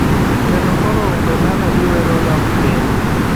kendo koro wende mane giwero dok piny.